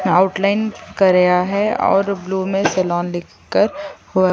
outline कराया है और ब्लू में सैलून लिखकर हुआ --